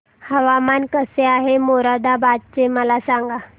हवामान कसे आहे मोरादाबाद चे मला सांगा